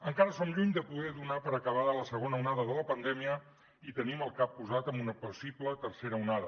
encara som lluny de poder donar per acabada la segona onada de la pandèmia i tenim el cap posat en una possible tercera onada